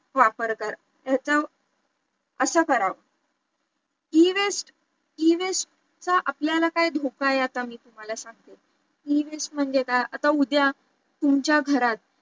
वापर ह्याचा असं करावं Ewaste चा आपल्याला काय धोका आहे आता मी तुम्हाला सांगते, Ewaste म्हणजे काय आता उद्या तुमच्या घरात